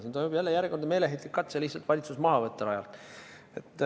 Siin toimub järjekordne meeleheitlik katse lihtsalt valitsus rajalt maha võtta.